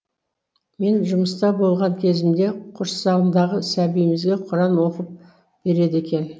мен жұмыста болған кезімде құрсағындағы сәбиімізге құран оқып береді екен